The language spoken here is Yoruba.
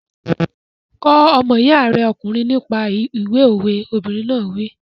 Kọ́ ọmọ iya rẹ ọkùnrin nípa ìwé òwe! Obìnrin náà wí.